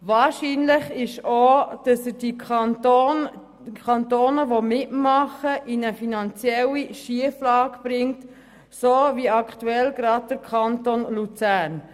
Wahrscheinlich ist auch, dass er die Kantone, die dabei mitmachen, in eine finanzielle Schieflage bringt, so wie aktuell den Kanton Luzern.